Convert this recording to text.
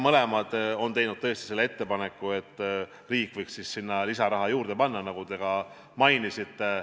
Mõlemad on teinud tõesti selle ettepaneku, et riik võiks sinna lisaraha juurde panna, nagu te ka mainisite.